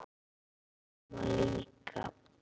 Amma líka.